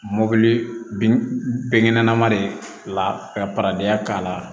Mobili binkɛnɛma de ye la ka parayi k'a la